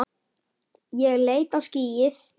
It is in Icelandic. Ég leit á skýið.